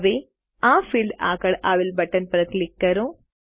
હવે આ ફિલ્ડ આગળ આવેલ બટન પર ક્લિક કરો